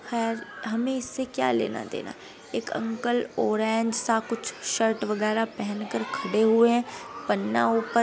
खैर हमें इससे क्या लेना देना एक अंकल ऑरेंज सा कुछ शर्ट वगेरा पहनकर खड़े हुए हैं पन्ना ऊपर --